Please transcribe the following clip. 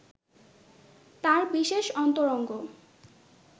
তার বিশেষ অন্তরঙ্গ